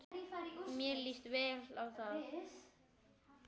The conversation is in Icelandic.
Mér líst vel á þetta.